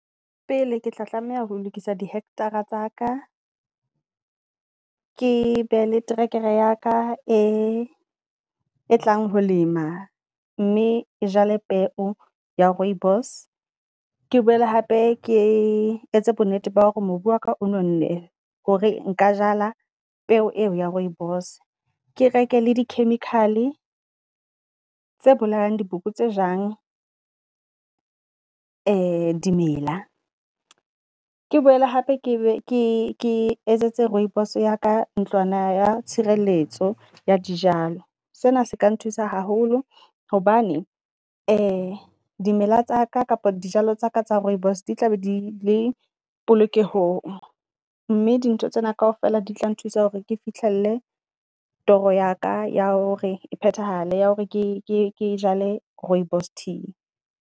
Pele ke tla tlameha ho lokisa di hector-a tsa ka, ke be le trekere ya ka e e tlang ho lema. Mme jwale peo ya Rooibos ke boele hape ke etse bo nnete ba hore mobu wa ka o nonne hore nka jala peo eo ya Rooibos. Ke reke le di chemical-e tse bolayang di boko tse jang dimela. Ke boele hape ke be ke ke etsetse Rooibos ya ka ntlwana ya tshireletso ya di jalo, sena se ka nthusa haholo hobane dimela tsa ka kapa di jalo tsa ka tsa Rooibos di tla be di le polokeho ng. Mme di ntho tsena kaofela di tla nthusa hore ke fihlelle toro ya ka ya hore e phethahale ya hore ke jale Rooibos tea.